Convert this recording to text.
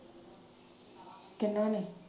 ਕਿਹਨਾਂ ਨੇ?